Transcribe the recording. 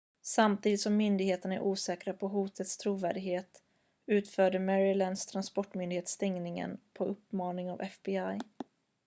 samtidigt som myndigheterna är osäkra på hotets trovärdighet utförde marylands transportmyndighet stängningen på uppmaning av fbi